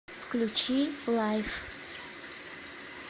включи лайф